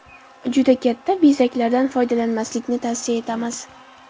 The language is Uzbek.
Juda katta bezaklardan foydalanmaslikni tavsiya etamiz.